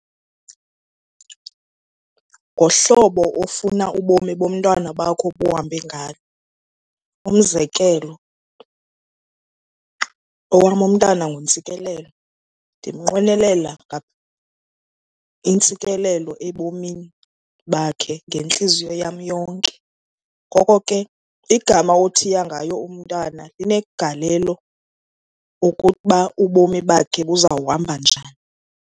Ngohlobo ofuna ubomi bomntwana bakho buhambe ngalo. Umzekelo, owam umntana nguNtsikelelo, ndimnqwenelela intsikelelo ebomini bakhe ngentliziyo yam yonke. Ngoko ke igama othiya ngayo umntana inegalelo okuba ubomi bakhe buzawuhamba njani.